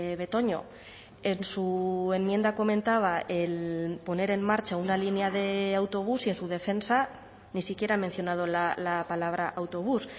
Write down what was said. betoño en su enmienda comentaba el poner en marcha una línea de autobús y en su defensa ni siquiera ha mencionado la palabra autobús